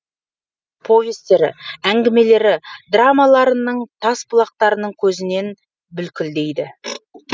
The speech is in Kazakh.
повестері әңгімелері драмаларының тас жарған лыпылы бір бұлақтың көзінен бүлкілдейді